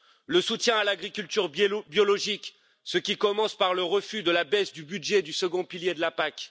le soutien à l'agriculture biologique, qui commence par le refus de la baisse du budget du second pilier de la PAC